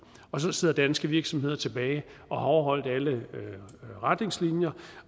og så sidder danske virksomheder tilbage og har overholdt alle retningslinjer